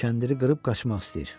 Kəndiri qırıb qaçmaq istəyir.